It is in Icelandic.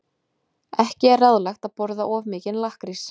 Ekki er ráðlegt að borða of mikinn lakkrís.